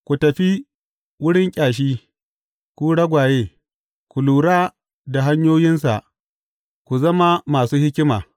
Ku tafi wurin kyashi, ku ragwaye; ku lura da hanyoyinsa ku zama masu hikima!